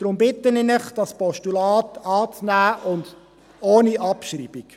Deshalb bitte ich Sie, dieses Postulat anzunehmen, und das ohne Abschreibung.